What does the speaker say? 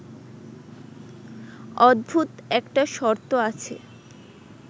অদ্ভুত একটা শর্ত আছে